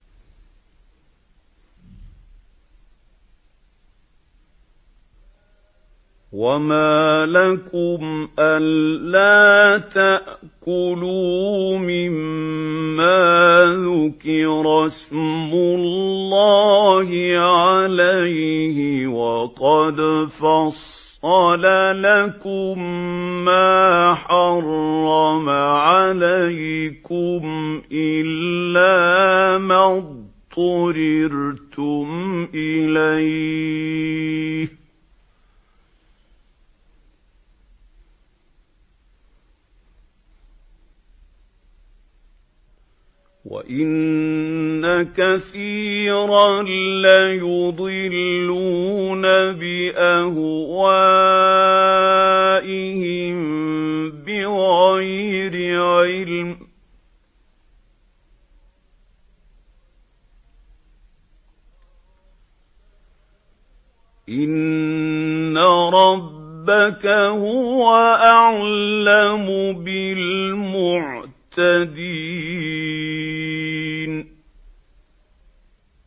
وَمَا لَكُمْ أَلَّا تَأْكُلُوا مِمَّا ذُكِرَ اسْمُ اللَّهِ عَلَيْهِ وَقَدْ فَصَّلَ لَكُم مَّا حَرَّمَ عَلَيْكُمْ إِلَّا مَا اضْطُرِرْتُمْ إِلَيْهِ ۗ وَإِنَّ كَثِيرًا لَّيُضِلُّونَ بِأَهْوَائِهِم بِغَيْرِ عِلْمٍ ۗ إِنَّ رَبَّكَ هُوَ أَعْلَمُ بِالْمُعْتَدِينَ